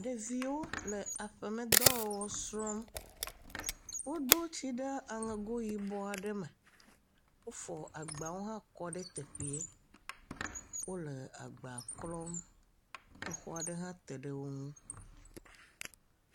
Ɖeviwo le aƒemedɔ wɔwɔ srɔm, wodo tsi ɖe aŋego yi ɔ aɖe me, wofɔ agbawo hã kɔ ɖe teƒee, wole agba klɔm, exɔ aɖe hã te ɖe wo ŋu.